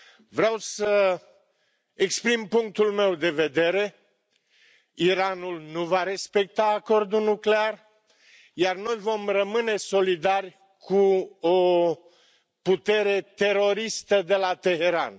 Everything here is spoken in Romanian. Vreau să exprim punctul meu de vedere Iranul nu va respecta Acordul nuclear, iar noi vom rămâne solidari cu o putere teroristă de la Teheran.